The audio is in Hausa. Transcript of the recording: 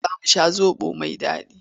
Yau za mu sha zaɓo mai daɗi.